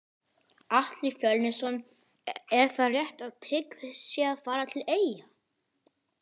Atli Fjölnisson Er það rétt að Tryggvi sé að fara til eyja?